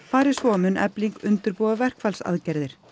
fari svo mun Efling undirbúa verkfallsaðgerðir